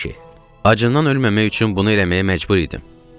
Acından ölməmək üçün bunu eləməyə məcbur idim.